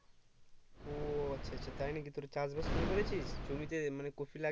ও আচ্ছা আচ্ছা তাই নাকি তোরা চাষবাস শুরু করেছিস জমিতে মানে কপি লাগাচ্ছিস